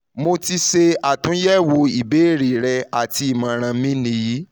mo ti ṣe atunyẹwo ibeere rẹ ati imọran mi ni yi